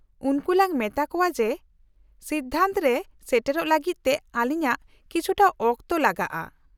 -ᱩᱱᱠᱩ ᱞᱟᱝ ᱢᱮᱛᱟ ᱠᱚᱶᱟ ᱡᱮ ᱥᱤᱫᱽᱫᱷᱟᱱᱛᱚ ᱨᱮ ᱥᱮᱴᱮᱨᱚᱜ ᱞᱟᱹᱜᱤᱫ ᱛᱮ ᱟᱹᱞᱤᱧᱟᱹᱜ ᱠᱤᱪᱷᱩᱴᱟ ᱚᱠᱛᱚ ᱞᱟᱜᱟᱜᱼᱟ ᱾